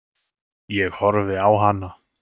Ég horfi á hana.